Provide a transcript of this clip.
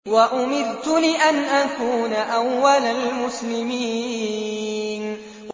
وَأُمِرْتُ لِأَنْ أَكُونَ أَوَّلَ الْمُسْلِمِينَ